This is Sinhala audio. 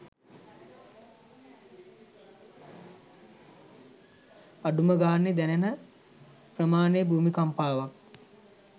අඩුම ගානෙ දැනෙන ප්‍රමාණෙ භූමිකම්පාවක්